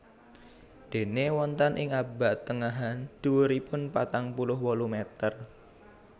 Déné wonten ing abad tengahan dhuwuripun patang puluh wolu meter